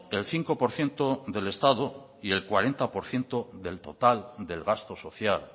el cinco por ciento del estado y el cuarenta por ciento del total del gasto social